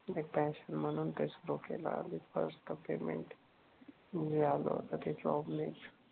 हे पॅशन म्हणून ते सुरु केलं. फर्स्ट पेयमेन्ट जे आलं होत ते जॉब नेचं.